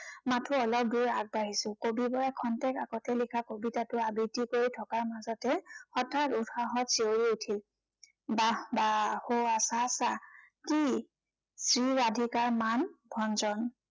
মাথো অলপ দূৰ আগবাঢ়িছো। কবিবৰে ক্ষন্তেক আগতে লিখা কবিতাটো আবৃত্তি কৰি থকাৰ মাজতে, হঠাৎ উৎসাহত চিঞৰি উঠিল। বাহঃ বাহঃ সৌৱা চা চা কি? শ্ৰীৰাধিকাৰ মান ভঞ্জন।